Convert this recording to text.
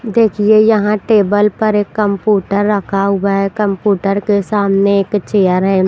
देखिए यहाँ टेबल पर एक कम्पूटर रखा हुआ है कम्पूटर के सामने एक चेयर है।